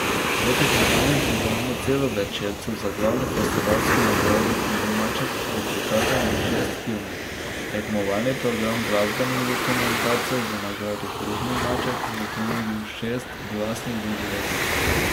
V tekmovalnem programu celovečercev za glavno festivalsko nagrado hudi maček bo prikazanih šest filmov, tekmovalni program glasbenih dokumentarcev za nagrado hrupni maček bo ponudil šest glasnih doživetij.